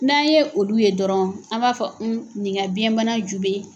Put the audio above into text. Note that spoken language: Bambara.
N'an ye olu ye dɔrɔn an m'a fɔ nin ka biyɛnbana ju bɛ